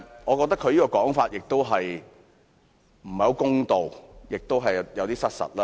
我覺得他這樣說不太公道，而且有點失實。